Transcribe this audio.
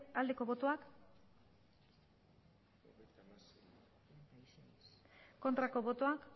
aldeko botoak aurkako botoak